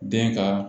Den ka